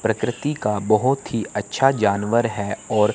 प्रकृति का बहोत ही अच्छा जानवर है और--